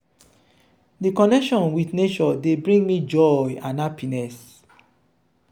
di connection with nature dey bring me joy and happiness.